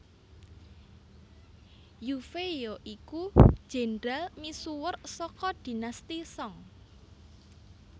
Yue Fei ya iku jendral misuwur saka Dinasti Song